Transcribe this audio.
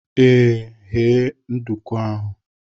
Ee, ghee nduku ahụ.